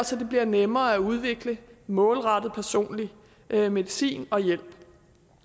så det bliver nemmere at udvikle målrettet personlig medicin og hjælp